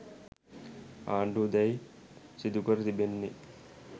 ආණ්ඩුව දැන් සිදුකර තිබෙන්නේ